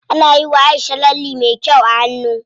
Ana yiwa Aisha lalle me kyau a hannu.